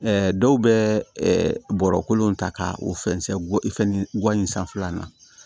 dɔw bɛ bɔrɔkolon ta ka o fɛn guwan in sanfɛla na